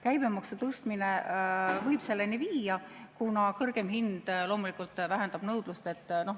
Käibemaksu tõstmine võib selleni viia, kuna kõrgem hind loomulikult vähendab nõudlust.